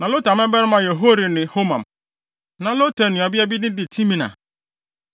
Na Lotan mmabarima yɛ Hori ne Homam. Na Lotan nuabea din de Timna.